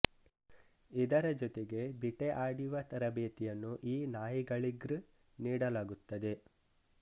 ಇದರ ಜೊತೆಗೆ ಬಿಟೆ ಆಡಿವ ತರಬೇತಿಯನ್ನು ಈ ನಾಯಿಗಳಿಗ್ರ್ ನೀಡಲಾಗುತ್ತದೆ